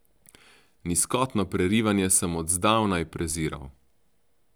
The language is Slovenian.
Nizkotno prerivanje sem od zdavnaj preziral.